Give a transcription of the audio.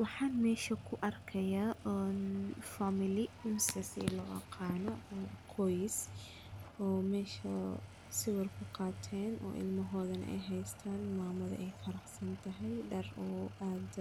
Waxan mesha kuarkayaa family mise si looaqano qoys oo mesha sawir kuqateen oo ilmohoda neh ey haystaan mamada ey faraxsantahay dhar oo aad